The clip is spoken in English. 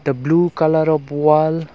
the blue colour of wall--